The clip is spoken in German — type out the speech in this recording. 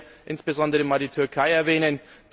Ich will hier insbesondere einmal die Türkei erwähnen.